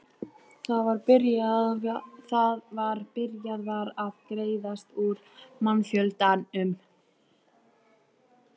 Það var byrjað var að greiðast úr mannfjöldanum.